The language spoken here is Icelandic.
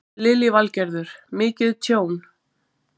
Lillý Valgerður: Mikið tjón?